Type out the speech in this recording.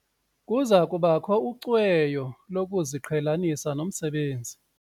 Kuza kubakho ucweyo lokuziqhelanisa nomsebenzi.